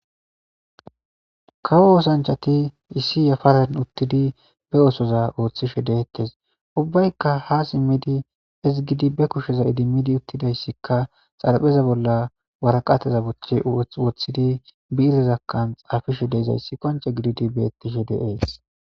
kawo osanchati issi yafaren uttidi be osoza ooththishe deettes ubbaykka ha simmidi ezigidi be kusheza idimmidi uttidayssikka xarpheza bolla waraqateza buch woththidi biirezakkan xaafishe deeizayssi qonce gididi beettishe deees